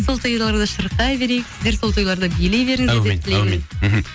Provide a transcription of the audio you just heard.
сол тойларда шырқай берейік сіздер сол ойларда билей беріңіздер әумин әумин мхм